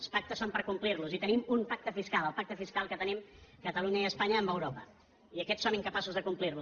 els pactes són per complir·los i tenim un pacte fiscal el pacte fiscal que te·nim catalunya i espanya amb europa i aquest som inca·paços de complir·lo